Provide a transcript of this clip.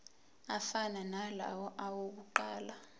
afana nalawo awokuqala